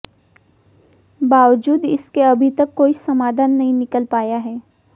बावजूद इसके अभी तक कोई समाधान नहीं निकल पाया है